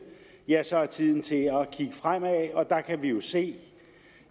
ja så er tiden kommet til at kigge fremad der kan vi jo se